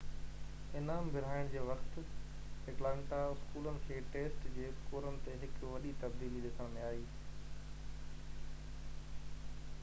انعام ورهائڻ جي وقت ايٽلانٽا اسڪولن کي ٽيسٽ جي اسڪورن تي هڪ وڏي تبديلي ڏسڻ ۾ آئي